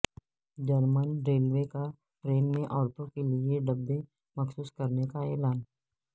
German railway کا train میں عورتوں کے لیے ڈبے مخصوص کرنے کا اعلان